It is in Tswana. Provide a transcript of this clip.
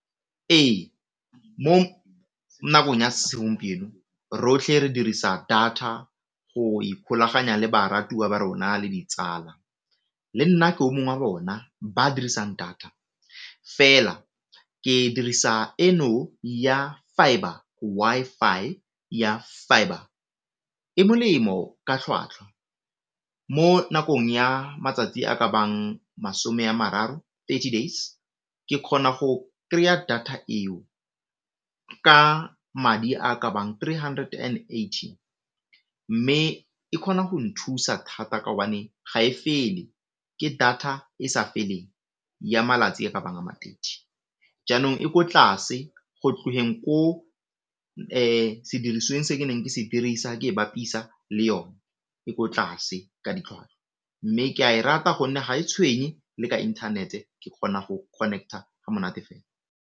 Ee, mo nakong ya segompieno rotlhe re dirisa data go ikgolaganya le baratuwa ba rona le ditsala, le nna ke o mongwe wa bona ba dirisang data fela ke dirisa eno ya fibre, Wi-Fi ya fibre e molemo ka tlhwatlhwa mo nakong ya matsatsi a ka bang masome ya mararo, thirty days ke kgona go kry-a data eo ka madi a ka bang three hundred and eighty, mme e kgona go nthusa thata kaobane ga e fele. Ke data e sa feleng ya malatsi a ka bang a ma thirty, jaanong e ko tlase go tlogeng ko sedirisweng se ke neng ke se dirisa ke e bapisa le yone e ko tlase ka ditlhwatlhwa, mme ke a e rata gonne ga e tshwenye le ka internet ke kgona go connect-a ga monate fela.